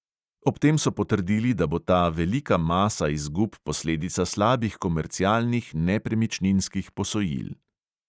Ob tem so potrdili, da bo ta velika masa izgub posledica slabih komercialnih nepremičninskih posojil.